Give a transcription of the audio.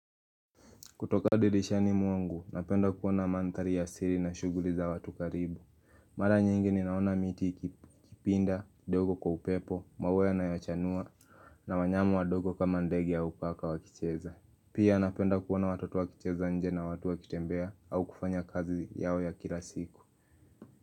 Kutoka dirisha ni mwangu, napenda kuona mandhari ya siri na shuguli za watu karibu. Mara nyingi ni naona miti kipinda, dogo kwa upepo, maua ya na yachanua, na wanyama wa dogo kama ndege au paka wakicheza. Pia napenda kuona watoto wakicheza nje na watu wakitembea au kufanya kazi yao ya kila siku.